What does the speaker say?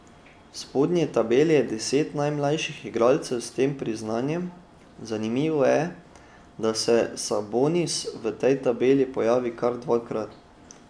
V spodnji tabeli je deset najmlajših igralcev s tem priznanjem, zanimivo je, da se Sabonis v tej tabeli pojavi kar dvakrat.